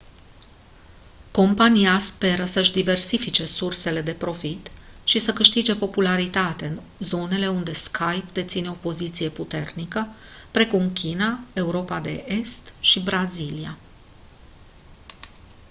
compania speră să-și diversifice sursele de profit și să câștige popularitate în zonele unde skype deține o poziție puternică precum china europa de est și brazilia